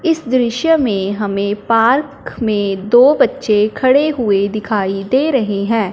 इस दृश्य में हमें पार्क में दो बच्चे खड़े हुएं दिखाई दे रहें हैं।